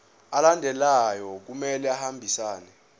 alandelayo kumele ahambisane